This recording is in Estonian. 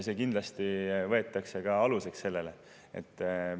See kindlasti võetakse ka aluseks sellele.